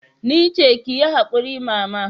Nice, kiyi hakuri mama.